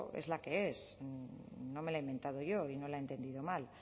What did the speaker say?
es la que es no me la he inventado yo y no la he entendido mal